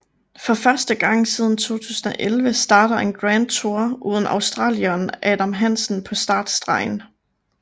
For første gang siden 2011 starter en Grand Tour uden australieren Adam Hansen på startstregen